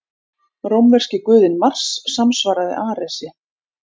Rómverski guðinn Mars samsvaraði Aresi.